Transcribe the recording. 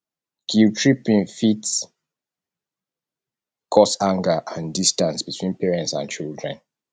guilttripping fit cause anger and distance between parents and children